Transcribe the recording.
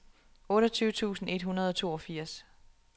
otteogtyve tusind et hundrede og toogfirs